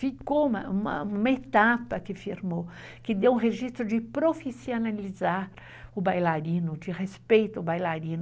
Ficou uma etapa que firmou, que deu um registro de profissionalizar o bailarino, de respeito ao bailarino.